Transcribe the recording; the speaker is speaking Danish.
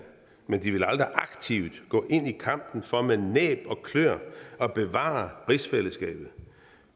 men de vil aldrig aktivt gå ind i kampen for med næb og kløer at bevare rigsfællesskabet